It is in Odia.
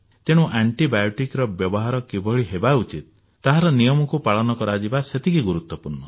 ତେଣୁ ଆଣ୍ଟିବାୟୋଟିକ୍ ର ବ୍ୟବହାର କିଭଳି ହେବା ଉଚିତ ତାହାର ନିୟମକୁ ପାଳନ କରାଯିବା ସେତିକି ଗୁରୁତ୍ୱପୂର୍ଣ୍ଣ